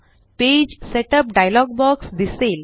page setup dialog box दिसेल